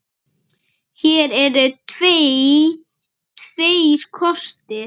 Hér eru því tveir kostir